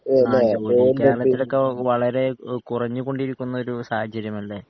ആഹ് ല്ലേ